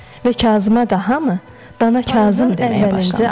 Və Kazıma da hamı Dana Kazım deməyə başlamışdı.